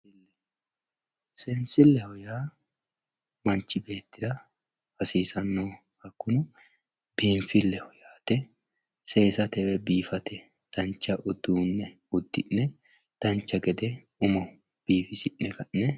seensilleho yaa manchi beettira hasiisannoho hakkuno biinfilleho yaate seesate woy biifate dancha uduunne uddi'ne dancha gede umo biifisi'ne ka'ne